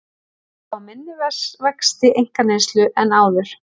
Spá minni vexti einkaneyslu en áður